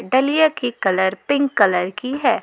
डलिया की colour pink colour की है।